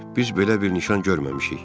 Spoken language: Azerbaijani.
Biz belə bir nişan görməmişik.